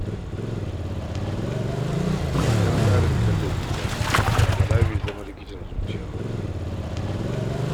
Ba don tsarin tallafi ba, da Bala bai zama likitan zuciya ba